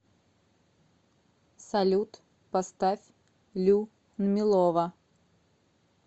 салют поставь лю нмилова